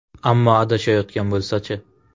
Ammo adashayotgan bo‘lsachi?